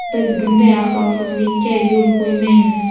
biz bunday axloqsizlika yo‘l qo‘ymaymiz.